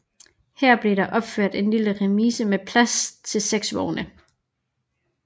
Her blev der opført en lille remise med plads til seks vogne